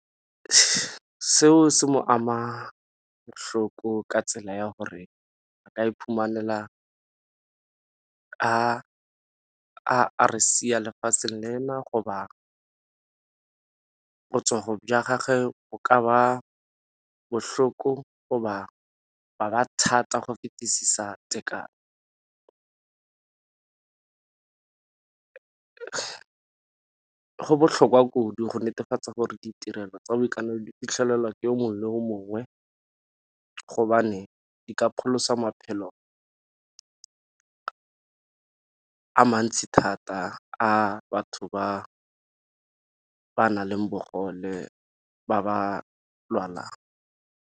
Seo se mo ama ka tsela ya gore a ka iphumanela a re sia lefatsheng lena go ba botsogo jwa gage go ka ba bohloko go ba thata go fetisisa tekano. Go botlhokwa kudu go netefatsa gore ditirelo tsa boitekanelo di fitlhelelwa ke yo mongwe yo mongwe gobane di ka pholosa maphelo a mantsi thata a batho ba ba nang le bogole ba ba lwalang.